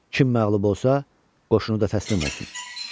Kim məğlub olsa, qoşunu da təslim olsun.